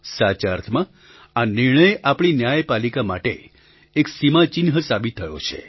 સાચા અર્થમાં આ નિર્ણય આપણી ન્યાયપાલિકા માટે એક સીમાચિહ્ન સાબિત થયો છે